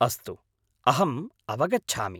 अस्तु, अहम् अवगच्छामि।